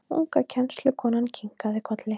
Unga kennslukonan kinkaði kolli.